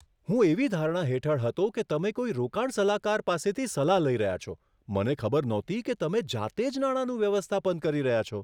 હું એવી ધારણા હેઠળ હતો કે તમે કોઈ રોકાણ સલાહકાર પાસેથી સલાહ લઈ રહ્યા છો, મને ખબર નહોતી કે તમે જાતે જ નાણાંનું વ્યવસ્થાપન કરી રહ્યા છો.